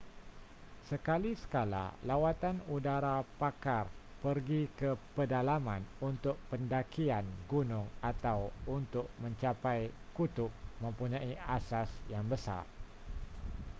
sekali-sekala lawatan udara pakar pergi ke pedalaman untuk pendakian gunung atau untuk mencapai kutub mempunyai asas yang besar